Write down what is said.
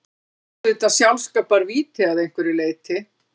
Þetta var auðvitað sjálfskaparvíti að einhverju leyti.